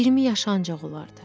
20 yaşı ancaq olardı.